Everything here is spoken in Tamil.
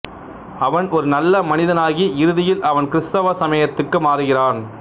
அவன் ஒரு நல்ல மனிதனாகி இறுதியில் அவன் கிறிஸ்தவ சமயத்துக்கு மாறுகிறான்